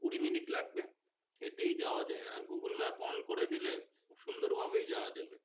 কুড়ি minutes লাগবে হেঁটেই যাওয়া যায় আর google map করে দিলে খুব সুন্দর ভাবেই যাওয়া যাবে।